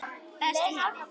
Best í heimi.